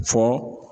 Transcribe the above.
Fɔ